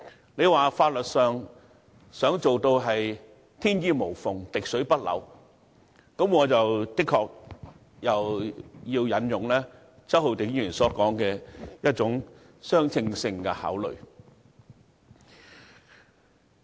若你說在法律上想做到天衣無縫、滴水不漏，這樣我便要引用周浩鼎議員的說法：我們必須考慮相稱性。